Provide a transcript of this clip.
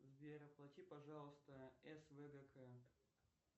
сбер оплати пожалуйста свгк